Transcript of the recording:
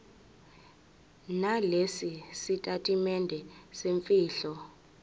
nalesi sitatimende semfihlo